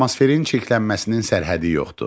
Atmosferin çirklənməsinin sərhəddi yoxdur.